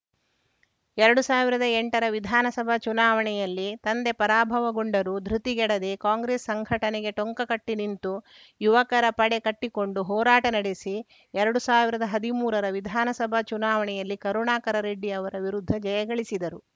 ಎರಡು ಸಾವಿರದ ಎಂಟರ ವಿಧಾನಸಭಾ ಚುನಾವಣೆಯಲ್ಲಿ ತಂದೆ ಪರಾಭವಗೊಂಡರೂ ದೃತಿಗೆಡದೆ ಕಾಂಗ್ರೆಸ್‌ ಸಂಘಟನೆಗೆ ಟೊಂಕಕಟ್ಟಿನಿಂತು ಯುವಕರ ಪಡೆ ಕಟ್ಟಿಕೊಂಡು ಹೋರಾಟ ನಡೆಸಿ ಎರಡು ಸಾವಿರದ ಹದಿಮೂರರ ವಿಧಾನಸಭಾ ಚುನಾವಣೆಯಲ್ಲಿ ಕರುಣಾಕರರೆಡ್ಡಿ ಅವರ ವಿರುದ್ಧ ಜಯ ಗಳಿಸಿದರು